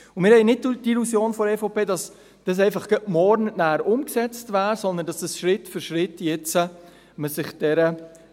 Wir haben seitens der EVP nicht die Illusion, dass dies bereits morgen umgesetzt sein wird, sondern gehen davon aus, dass man sich Schritt für Schritt